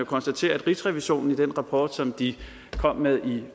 konstatere at rigsrevisionen i den rapport som de kom med i